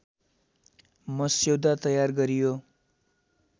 मस्यौदा तयार गरियो